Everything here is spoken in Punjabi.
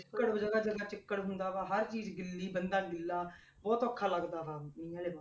ਚਿੱਕੜ ਜਗ੍ਹਾ ਜਗ੍ਹਾ ਚਿੱਕੜ ਹੁੰਦਾ ਵਾ ਹਰ ਚੀਜ਼ ਗਿੱਲੀ ਬੰਦਾ ਗਿੱਲਾ ਬਹੁਤ ਔਖਾ ਲੱਗਦਾ ਵਾ ਮੀਂਹ ਵਾਲੇ,